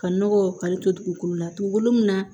Ka nɔgɔ kari to dugukolo la dugukolo min na